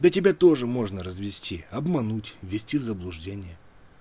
да тебя тоже можно развести обмануть ввести в заблуждение